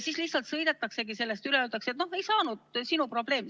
Siis lihtsalt sõidetaksegi sellest üle ja öeldakse, et noh, ei saanud, sinu probleem.